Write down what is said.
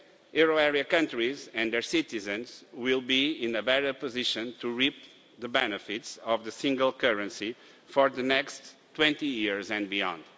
Euro area countries and their citizens will thus be in a better position to reap the benefits of the single currency for the next 20 years and beyond.